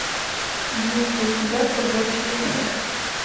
есть ли у тебя побочный эффект